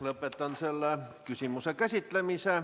Lõpetan selle küsimuse käsitlemise.